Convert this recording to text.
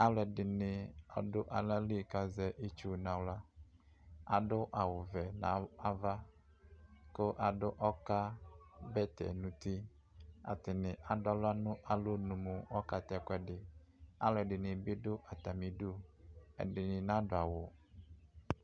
alo ɛdini ado ala li ko azɛ itsu no ala ado awu vɛ no ava ko ado ɔka bɛtɛ no uti atani ado ala no alɔnu mo ɔka tɛ ɛkoɛdi alo ɛdini bi do atami du ɛdini na do awu